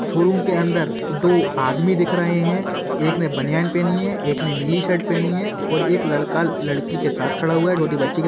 Showroom के अंदर दो आदमी दिख रहे हैं। एक ने बनियाईन पहनी है। एक ने नीली शर्ट पहनी है और एक लड़का लड़की के साथ खड़ा हुआ है। छोटी बच्ची के --